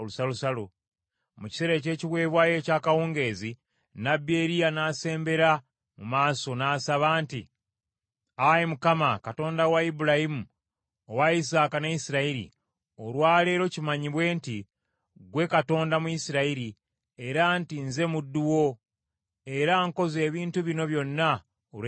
Mu kiseera eky’ekiweebwayo eky’akawungeezi, nnabbi Eriya n’asembera mu maaso n’asaba nti, “Ayi Mukama , Katonda wa Ibulayimu, owa Isaaka ne Isirayiri, olwa leero kimanyibwe nti ggwe Katonda mu Isirayiri, era nti nze muddu wo, era nkoze ebintu bino byonna olw’ekigambo kyo.